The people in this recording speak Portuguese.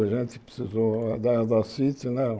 A gente precisou... Da da